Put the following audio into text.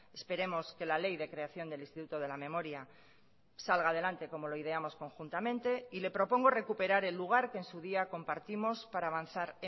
esperemos que la ley de creación del instituto de la memoria salga adelante como lo ideamos conjuntamente y le propongo recuperar el lugar que en su día compartimos para avanzar